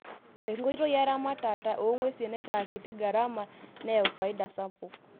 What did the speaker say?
Enkoitoi eramatata oongwesi naitaa kiti garama neyau faida sapuk.